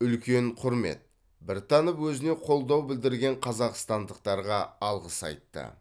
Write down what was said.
үлкен құрмет біртанов өзіне қолдау білдірген қазақстандықтарға алғыс айтты